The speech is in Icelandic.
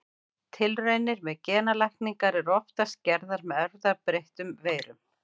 Tilraunir með genalækningar eru oftast gerðar með erfðabreyttum veirum.